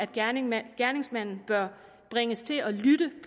gerningsmanden gerningsmanden bør bringes til at lytte